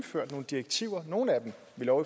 når